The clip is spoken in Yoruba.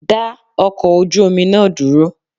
Dá ọkọ̀ ojú omi náà dúró!